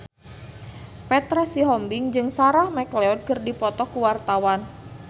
Petra Sihombing jeung Sarah McLeod keur dipoto ku wartawan